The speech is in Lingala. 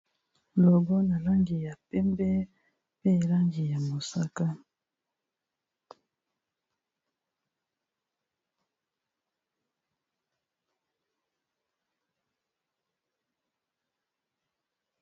Logo na langi ya pembe, mpe langi ya mosaka.